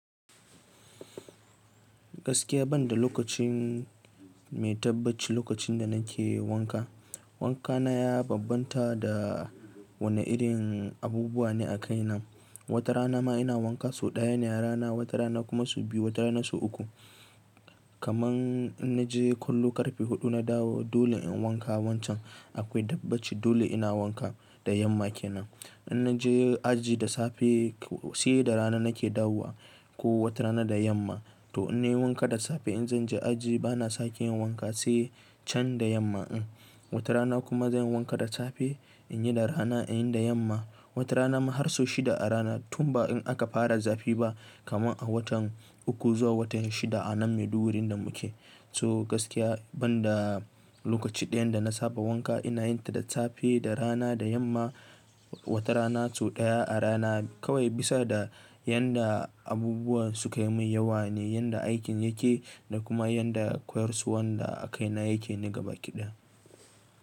Gaskiya banda lokacin mai tabbaci lokacin da nake wanka, wanka na ya bambanta da wane irin abubuwa ne a kai nan. Wata rana ma ina wanka sau ɗaya ne a rana, wata rana kuma su biyu, wata rana su uku. Kaman in naje kwallo ƙarfe huɗu na dawo dole in wanka wancan akwai tabbaci dole ina wanka da yamma kenan. In naje aji da safe sai da rana nake dawowa ko wata rana da yamma. To in nayi wanka da safe in zan je aji bana sake yin wanka sai can da yamma. Watarana kuma zanyi wanka da safe inyi da rana inyi da yamma. Wata rana ma har sau shida a rana tun ba in aka fara zafi ba kaman a watan uku zuwa watan shida a nan Maiduguri da muke. So gaskiya banda lokaci ɗayan da na saba wanka ina yin ta da safe, da rana, da yamma. Wata rana sau ɗaya a rana kawai bisa da yanda abubuwa sukayi mai yawa ne, yanda aikin yake da kuma yanda koyarwar da a kaina yake na gaba ƙiɗan.